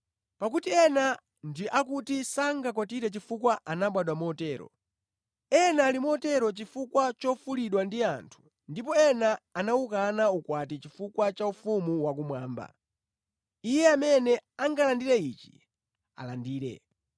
Pakuti ena ndi akuti sangakwatire chifukwa anabadwa motero, ena ali motero chifukwa chofulidwa ndi anthu ndipo ena anawukana ukwati chifukwa cha ufumu wakumwamba. Iye amene angalandire ichi alandire.”